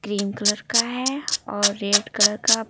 cream colour का है और रेड कलर का--